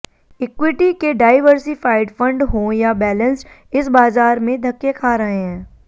equity के diversified fund हों या बैलेन्स्ड इस बाजार में धक्के खा रहे हैं